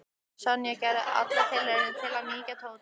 Sonja gerði aðra tilraun til að mýkja Tóta.